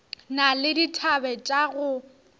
na le dithabe tša go